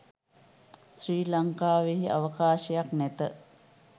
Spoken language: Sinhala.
ශ්‍රී ලංකාවෙහි අවකාශයක් නැත